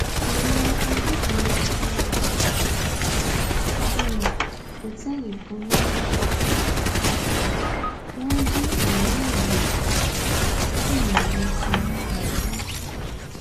àwọn agbébọn yà wọ um òtẹẹlì kan ní kwara um wọn jí aminu gbé wọn sì yìnbọn pa rasak